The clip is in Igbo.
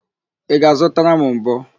Ị ga-azụtara m mbọ?